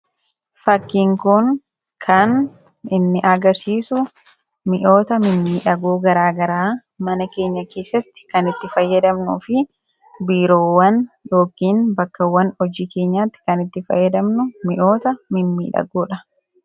Fakkiin kun kan inni agarsiisu mi'oota mimmiidhagoo garaa garaa mana keenya keessatti kan itti fayyadamnuu fi biiroowwan yookiin bakkawwan hojii keenyaatti kan itti fayyadamnu mi'oota mimmiidhagoodha.